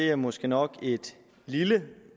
er måske nok et lille